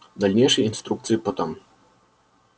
дальнейшие инструкции потом